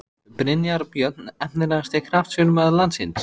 Brynjar Björn Efnilegasti knattspyrnumaður landsins?